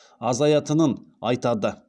азаятынын айтады